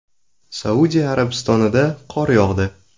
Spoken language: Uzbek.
Saudiya Arabistonida qor yog‘di .